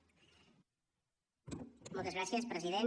moltes gràcies president